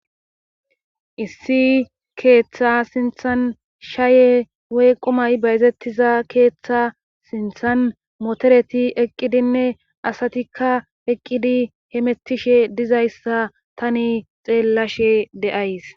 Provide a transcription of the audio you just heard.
issi keeththa sinthan shaaye woy qumay bayzettiza keeththa sinthan motereti eqqidinne asatikka eqqidi hemettishe dizayssa tani xeellashe de'ays